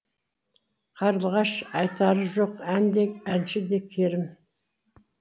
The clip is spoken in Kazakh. қарлығаш айтары жоқ ән де әнші де керім